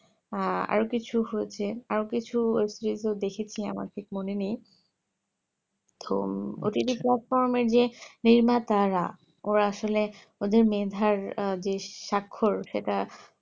আহ আরও কিছু হয়েছে আরও web series দেখেছি আমার মনে নেই তো OTT platform এ যেই নির্মাতারা আসলে ওদের মেধার বেশ সাক্ষর সেটা